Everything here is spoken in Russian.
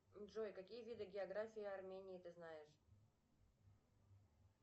джой какие виды географии армении ты знаешь